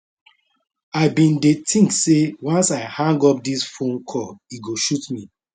i bin dey think say once i hang up dis phone call e go shoot me